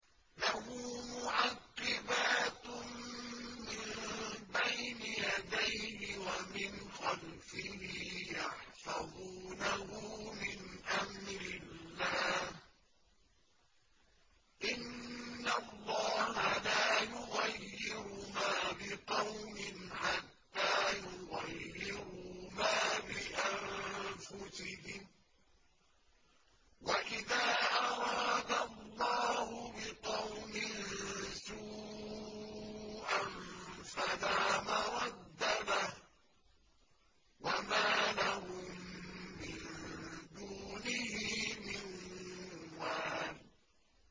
لَهُ مُعَقِّبَاتٌ مِّن بَيْنِ يَدَيْهِ وَمِنْ خَلْفِهِ يَحْفَظُونَهُ مِنْ أَمْرِ اللَّهِ ۗ إِنَّ اللَّهَ لَا يُغَيِّرُ مَا بِقَوْمٍ حَتَّىٰ يُغَيِّرُوا مَا بِأَنفُسِهِمْ ۗ وَإِذَا أَرَادَ اللَّهُ بِقَوْمٍ سُوءًا فَلَا مَرَدَّ لَهُ ۚ وَمَا لَهُم مِّن دُونِهِ مِن وَالٍ